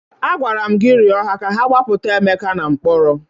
Agwara m gị rịọ ha ka ha gbapụta Emeka na mkpọrọ!